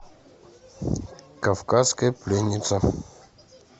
кавказская пленница